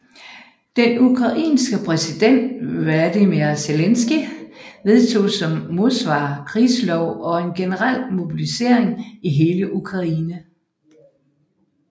Den ukrainske præsident Volodymyr Zelenskyj vedtog som modsvar krigslov og en generel mobilisering i hele Ukraine